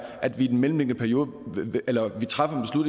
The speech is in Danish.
at vi i den mellemliggende periode træffer